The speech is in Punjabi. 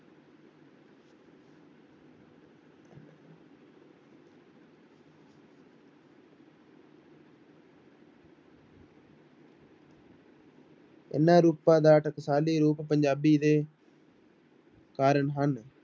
ਇਹਨਾਂ ਰੂਪਾਂ ਦਾ ਟਕਸਾਲੀ ਰੂਪ ਪੰਜਾਬੀ ਦੇ ਕਾਰਨ ਹਨ।